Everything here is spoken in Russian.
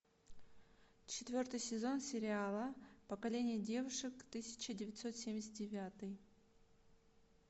четвертый сезон сериал поколение девушек тысяча девятьсот семьдесят девятый